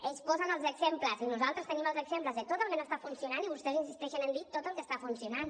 ells posen els exemples i nosaltres tenim els exemples de tot el que no està funcionant i vostès insisteixen en dir tot el que està funcionant